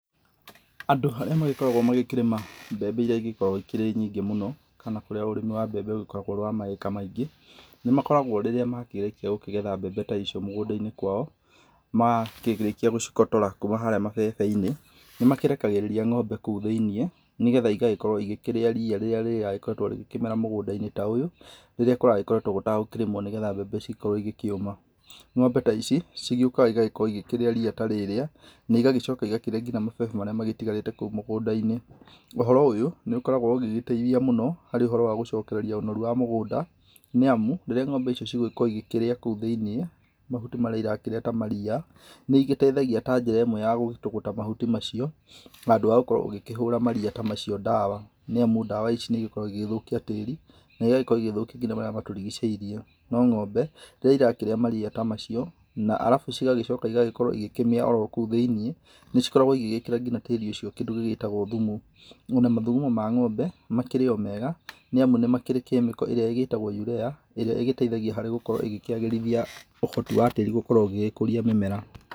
Andũ arĩa magĩkoragũo magĩkĩrĩma mbembe iria igĩkoragũo ikĩrĩ nyingĩ mũno na kũrĩa ũrĩmi wa mbembe ũgĩkoragũo ũrĩ wa ma acre maingĩ, nĩmakoragũo rĩrĩa makĩrĩkia gũkĩgetha mbembe ta icio mũgũndainĩ kwao, makĩrĩkia gũcikotora kuma harĩa mabebeinĩ, nĩmakĩrekagĩrĩria ng'ombe kũu thĩinĩ nĩgetha igagĩkorũo igĩkĩrĩa ria rĩrĩa rĩragĩkoretũo rĩgĩkĩmera a mũgũndainĩ ta ũyũ, rĩrĩa kũragĩkoretũo gũtagũkĩrĩmũo nigetha mbembe cigĩkorũo igĩkĩũma. Ng'ombe ta ici, cigĩũkaga igagĩkorũo igĩkĩrĩa ria ta rĩrĩa na igagĩcoka igakĩrĩa nginya mabebe marĩa matigarĩte kũu mũgũndainĩ. Ũhoro ũyũ, nĩ ũkoragũo ũgĩgĩteithia mũno harĩ ũhoro wa gũcokereria ũnoru wa mũgũnda, nĩ amu rĩrĩa ng'ombe ici cigũgĩkorũo igĩkĩrĩa kũu thĩinĩ mahuti marĩa irakĩrĩa ta maria, nĩ igĩteithagia ta njĩra ĩmwe ya gũgĩtũg ũta mahuti macio handũ ha gũkorũo ũgĩkĩhũra maria ta macio ndawa nĩ amu ndawa ici nĩikoragũo igĩgĩthũkia tĩri, na igagĩkorũo igĩgĩthũkia nginya marĩa matũrigicĩirie. No ng'ombe rĩrĩa irakĩrĩa maria ta macio, na alafu cigagĩkorũo igĩkĩmĩa o kũu thĩiniĩ nĩ cikoragũo igĩgĩkĩra nginya tĩri ũcio kĩndũ gĩtagũo thumu. Ona mathugumo ma ng'ombe, makĩrĩ o mega nĩ amu nĩ makĩrĩ chemical ĩrĩa ĩgĩtagwo urea ĩrĩa ĩgĩteithagia harĩ gũkorũo ĩgĩkĩagĩrithia ũhoti wa tĩri gũkorũo ũgĩkũria mĩmera.